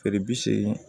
Feere bi segu